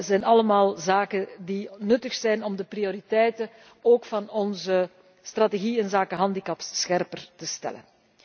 Dit zijn allemaal zaken die nuttig zijn om de prioriteiten, ook van onze strategie inzake handicaps, scherper te stellen.